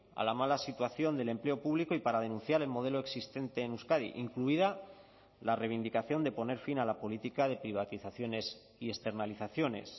a la mala situación del empleo público y para denunciar el modelo existente en euskadi incluida la reivindicación de poner fin a la política de privatizaciones y externalizaciones